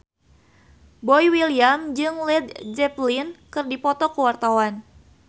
Boy William jeung Led Zeppelin keur dipoto ku wartawan